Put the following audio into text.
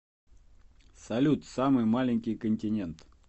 салют самый маленький континент